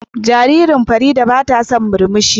Jaririn Fareedah bata son murmushi.